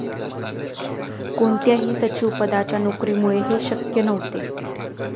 कोणत्याही सचिवपदाच्या नोकरीमुळे हे शक्य नव्हते.